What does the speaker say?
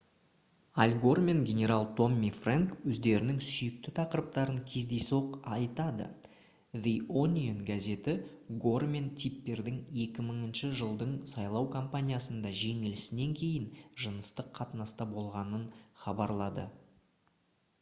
аль гор мен генерал томми фрэнк өздерінің сүйікті тақырыптарын кездейсоқ айтады the onion газеті гор мен типпердің 2000 жылдың сайлау компаниясында жеңілісінен кейін жыныстық қатынаста болғанын хабарлады